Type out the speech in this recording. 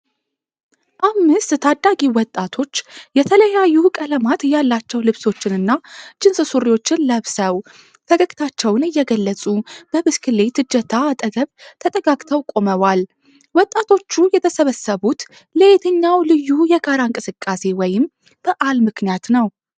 አምስት ታዳጊ ወጣቶች፣ የተለያዩ ቀለማት ያላቸው ልብሶችንና ጅንስ ሱሪዎችን ለብሰው፣ ፈገግታቸውን እየገለጹ በብስክሌት እጀታ አጠገብ ተጠጋግተው ቆመዋል፤ ወጣቶቹ የተሰባሰቡት ለየትኛው ልዩ የጋራ እንቅስቃሴ ወይም በዓል ምክንያት ነው?